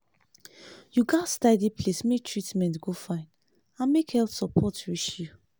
you gats tidy place make treatment go fine and make health support reach you.